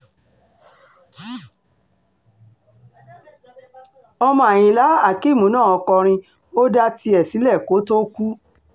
ọmọ àyìnlá akeem náà kọrin ó dá tiẹ̀ sílẹ̀ kó tóó kú